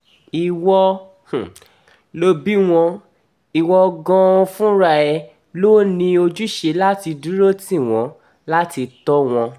ìwọ lo bí wọn ìwo gan-an fúnra ẹ ló ní ojúṣe láti dúró tì wọ́n láti tò wọ́n